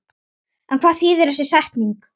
En hvað þýðir þessi setning?